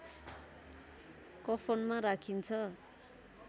कफनमा राखिन्छ